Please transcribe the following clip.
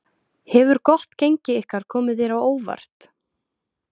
Hefur gott gengi ykkar komið þér á óvart?